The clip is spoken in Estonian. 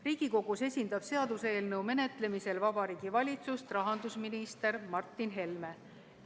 Riigikogus esindab seaduseelnõu menetlemisel Vabariigi Valitsust rahandusminister Martin Helme.